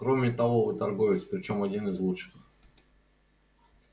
кроме того вы торговец причём один из лучших